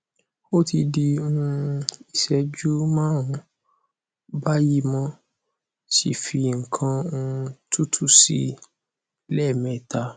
o ti di um iseju marun bayimo si fi nkan um tutu si le meta